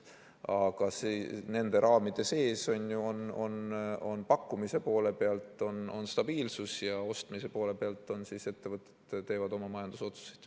Aga nende raamide sees on pakkumise poole pealt stabiilsus ja ostmise poole pealt ettevõtted teevad oma majandusotsuseid.